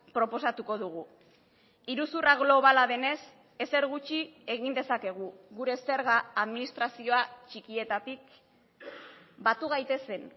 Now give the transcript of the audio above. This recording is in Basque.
proposatuko dugu iruzurra globala denez ezer gutxi egin dezakegu gure zerga administrazioa txikietatik batu gaitezen